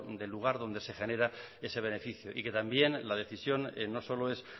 del lugar que se genera ese beneficio y que también la decisión no solo es